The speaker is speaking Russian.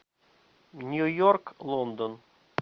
нью йорк лондон